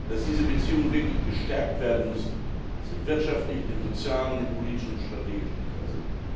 Dass diese Beziehungen wirklich gestärkt werden müssen, ist im wirtschaftlichen, im sozialen, im politischen und im strategischen Interesse.